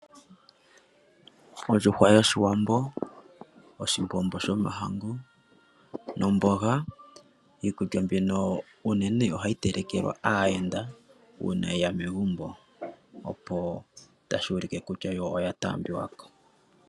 Ondjuhwa yOshiwambo, oshimbombo sho mahangu nomboga, iikulya mbino unene ohayi telekelwa aayenda uuna yeya megumbo, opo tashi u like kutya yo oya taa mbiwa ko.